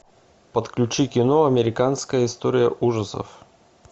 подключи кино американская история ужасов